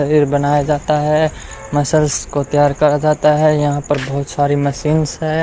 पनीर बनाया जाता है मसल्स को तैयार करा जाता है यहां पर बहोत सारी मशीनस है।